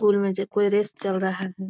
Pool में जे कोई रेस चल रहा है।